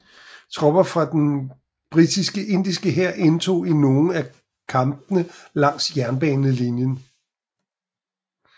Tropper fra den britiske indiske hær deltog i nogle af kampene langs jernbanelinjen